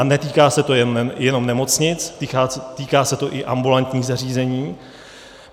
A netýká se to jenom nemocnic, týká se to i ambulantních zařízení.